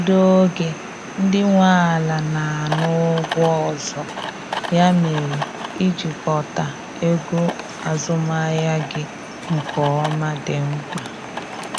Ụfọdụ oge ndị nwe ala na ana ụgwọ ọzọ, ya mere, ịjikota ego azụmahịa gị nke ọma dị mkpa